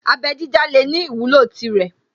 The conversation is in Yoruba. Abẹ́ dídá lè ní ìwúlò tirẹ̀